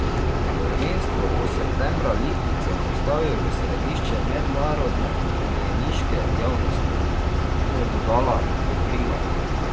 Prvenstvo bo septembra Lipico postavil v središče mednarodne konjeniške javnosti, je dodala Dobrila.